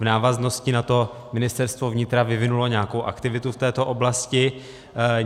V návaznosti na to Ministerstvo vnitra vyvinulo nějakou aktivitu v této oblasti.